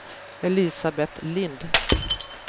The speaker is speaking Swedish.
Elisabet Lind